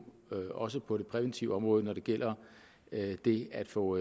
også på det præventive område når det gælder det at få